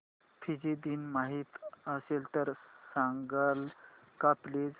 Fiji दिन माहीत असेल तर सांगाल का प्लीज